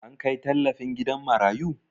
An kai tallafin gidan marayu?